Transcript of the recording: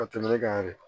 Ka tɛmɛ ne kan de